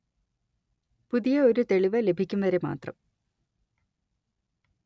പുതിയ ഒരു തെളിവ് ലഭിക്കും വരെ മാത്രം